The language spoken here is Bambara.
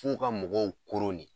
F'u ka mɔgɔw koron ne